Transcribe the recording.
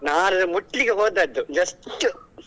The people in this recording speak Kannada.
ನಾನು ಅದ ಮುಟ್ಲಿಕ್ಕೆ ಹೋದದ್ದು just .